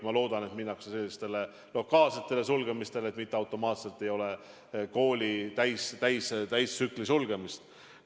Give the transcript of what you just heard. Ma loodan, et kõigepealt minnakse selliste lokaalsete sulgemiste teed, mitte ei ole automaatselt kooli täielikku sulgemist.